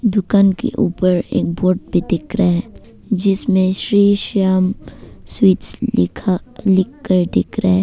दुकान के ऊपर एक बोर्ड भी दिख रहा है जिसमें श्री श्याम स्वीट्स लिखा लिखकर दिख रहा है।